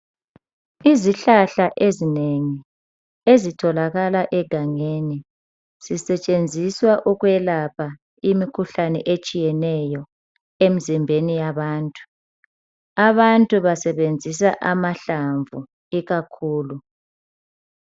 Izihlahla ezinengi ezitholakala egangeni zisetshenziswa ukwelapha imikhuhlane etshiyeneyo emzimbeni yabantu abantu basebenzisa amahlamvu ikakhulu